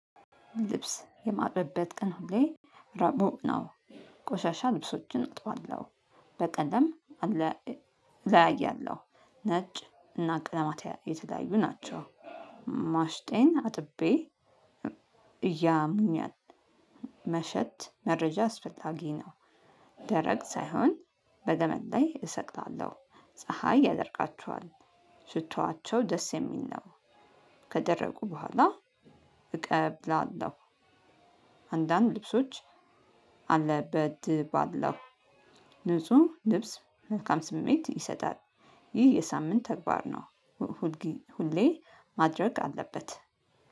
ልብስ የማጥብበት ቀን ሁሌ ረቡዕ ነው ቆሻሻ ልብሶችን አጥባለሁ። በቀለም አለ እለያያለሁ። ነጭ እና ቀለማት የተለያዩ ናቸው። ማሽጤን አጥቤ እያምኛል። መሸት መረጃ አስፈላጊ ነው። ደረቅ ሳይሆን በገመድ ላይ እሰቅላለሁ። ፀሀይ ያደርቃቸዋል። ሽቶዋቸው ደስ የሚል ነው። ከደረቁ በኋላ እቀብላለሁ። አንዳንድ ልብሶች አለ በድ ባለው ንጹህ ልብስ መልካም ስሜት ይሰጣል። ይህ የሳምንት ተግባር ነው። ሁሌ ማድረግ አለበት።